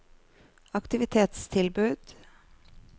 aktivitetstilbud